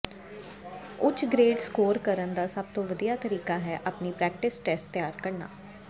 ਉੱਚ grade score ਕਰਨ ਦਾ ਸਭ ਤੋਂ ਵਧੀਆ ਤਰੀਕਾ ਹੈ ਆਪਣੀ ਪ੍ਰੈਕਟਿਸ ਟੈਸਟ ਤਿਆਰ ਕਰਨਾ